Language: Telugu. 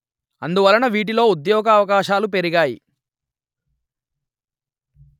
అందువలన వీటిలో ఉద్యోగవకాశాలు పెరిగాయి